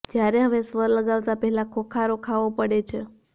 જયારે હવે સ્વર લગાવતાં પહેલા ખોંખારો ખાવો પડે છે